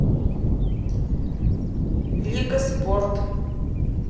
лига спорт